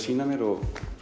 sýna mér og